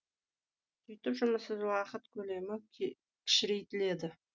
сөйтіп жұмыссыз уақыт көлемі кішірейтіледі